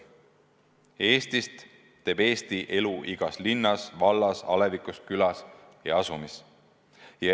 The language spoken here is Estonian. Eestist teeb Eesti elu igas linnas, vallas, alevikus, külas ja asumis.